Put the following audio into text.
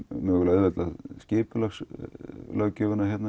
auðveldað skipulagslöggjöfina